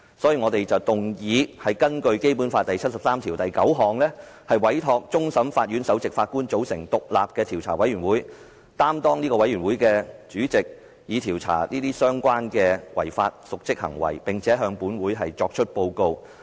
所以，我們動議根據《基本法》第七十三條第九項委托終審法院首席法官組成獨立的調查委員會，並擔任該委員會的主席，以調查相關的違法及瀆職行為，並向本會提出報告。